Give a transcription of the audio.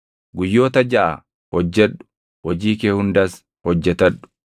Guyyoota jaʼa hojjedhu; hojii kee hundas hojjetadhu;